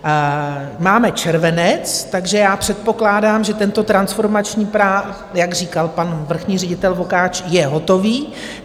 Máme červenec, takže já předpokládám, že tento transformační plán, jak říkal pan vrchní ředitel Vokáč, je hotový.